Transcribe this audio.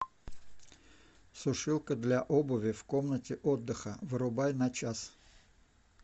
сушилка для обуви в комнате отдыха вырубай на час